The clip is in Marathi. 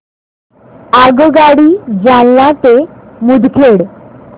आगगाडी जालना ते मुदखेड